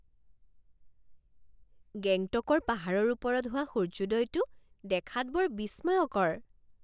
গেংটকৰ পাহাৰৰ ওপৰত হোৱা সূৰ্যোদয়টো দেখাত বৰ বিস্ময়কৰ।